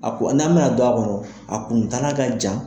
A ko n'an mina don, a kɔnɔ a kuntala ka jan